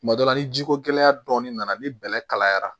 Tuma dɔ la ni ji ko gɛlɛya dɔɔnin nana ni bɛlɛ kalayara